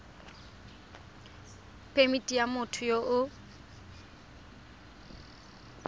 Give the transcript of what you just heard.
phemithi ya motho yo o